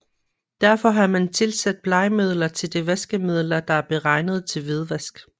Derfor har man tilsat blegemidler til de vaskemidler der er beregnet til hvidvask